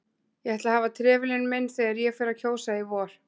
Ég ætla að hafa trefilinn minn þegar ég fer að kjósa í vor